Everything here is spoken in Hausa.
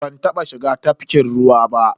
Ban taba shiga tafkin ruwa ba.